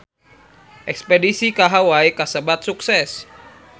Espedisi ka Hawai kasebat sukses